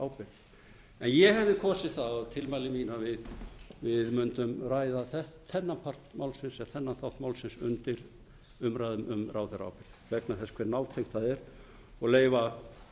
en ég hefði kosið það að tilmæli mín að við mundum ræða þennan þátt málsins undir umræðum um ráðherraábyrgð vegna þess hve nátengt það er og leyfa